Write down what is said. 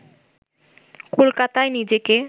কলকাতায় নিজেকে